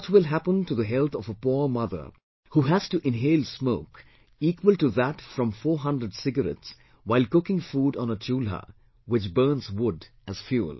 What will happen to the health of a poor mother how has to inhale smoke equal to that from 400 cigarettes while cooking food on a Chulha which burns wood as fuel